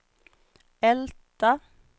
Älta